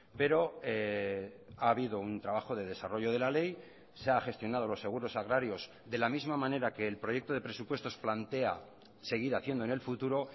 pero ha habido un trabajo de desarrollo de la ley se ha gestionado los seguros agrarios de la misma manera que el proyecto de presupuestos plantea seguir haciendo en el futuro